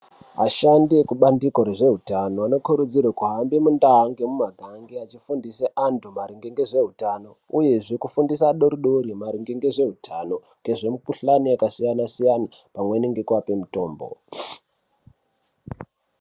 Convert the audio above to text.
Ashandi ekubandiko rezveutano anokurudzirwe kuhamba mundaa nemumangage achifundisa anthu maringe ngezveutano uyezve kufundisa adoridori maringe ngezveutano ngezvemikuhlani yakasiyana-siyana panweni ngekuapa mutombo.